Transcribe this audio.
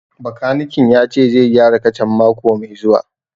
Bakanikin ya ce zai gyara kacan mako mai zuwa